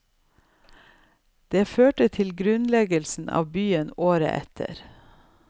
Det førte til grunnleggelsen av byen året etter.